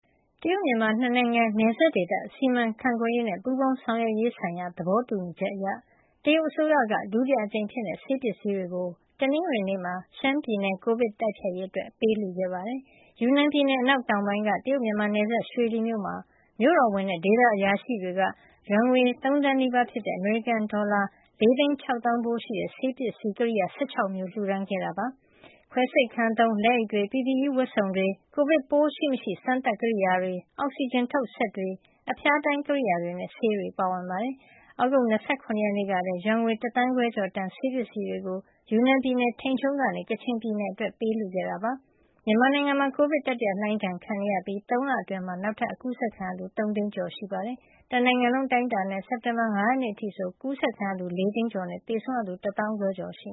တရုတ်-မြန်မာ ၂ နိုင်ငံ နယ်စပ်ဒေသ စီမံခန့်ခွဲရေးနဲ့ ပူးပေါင်းဆောင်ရွက်ရေးဆိုင်ရာ သဘောတူညီချက်အရ တရုတ်အစိုးရက ဒုတိယအကြိမ်အဖြစ် ဆေးပစ္စည်းတွေကို တနင်္ဂနွေနေ့မှာ ရှမ်းပြည်နယ် ကိုဗစ်တိုက်ဖျက်ရေးအတွက် ပေးလှူခဲ့ပါတယ်။ ယူနန်ပြည်နယ် အနောက်တောင်ပိုင်းက တရုတ်-မြန်မာနယ်စပ် ရွှေလီမြို့မှာ မြို့တော်ဝန် Shang Labian နဲ့ ဒေသအရာရှိတွေက ယွမ်ငွေ ၃ သန်းနီးပါးဖြစ်တဲ့ အမေရိကန်ဒေါ်လာ ၄၆၀,၀၀၀ ဖိုးရှိတဲ့ ဆေးပစ္စည်းကိရိယာ ၁၆ မျိုးကို လှူဒါန်းခဲ့တာ ဖြစ်ပါတယ်။ ဒီအထဲမှာ ခွဲစိတ်ခန်းသုံး လက်အိတ်တွေ၊ PPE ဝတ်စုံတွေ၊ ကိုဗစ်ပိုးရှိမရှိ စမ်းသပ်တဲ့ ကိရိယာတွေ၊ အောက်ဆီဂျင်ထုတ်စက်တွေ၊ အဖျားတိုင်းကိရိယာတွေနဲ့ ဆေးတွေပါဝင်ပါတယ်။ သြဂုတ်လ ၂၇ ရက်နေ့ကလည်း ယွမ်ငွေ ၁ သန်းခွဲကျော်တန် ဆေးပစ္စည်းတွေကို ယူနန်ပြည်နယ် ထိန်ချုံးကနေ ကချင်ပြည်နယ်အတွက် ပေးလှူခဲ့တာဖြစ်ပါတယ်။ မြန်မာနိုင်ငံမှာ ကိုဗစ် တတိယလှိုင်းဒဏ်ကို ခံနေရတာဖြစ်ပြီး ၃ လအတွင်းမှာပဲ နောက်ထပ် ကူးစက်ခံရသူ ၃ သိန်းကျော်ရှိခဲ့တာပါ။ တနိုင်ငံလုံး အတိုင်းအတာနဲ့ စက်တင်ဘာလ ၅ ရက်နေ့အထိဆို ဒီရောဂါ အကူးစက်ခံရသူ ၄ သိန်းကျော်နဲ့ သေဆုံးရသူက ၁၅,၀၀၀ ကျော်ရှိ